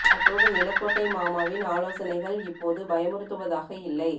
அத்தோடு நிலக் கோட்டை மாமாவின் ஆலோசனைகள் இப்போது பயமுறுத்துவதாக இல்லை